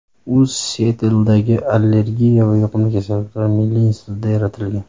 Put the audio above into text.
U Sietldagi Allergiya va yuqumli kasalliklar milliy institutida yaratilgan.